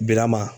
Bilama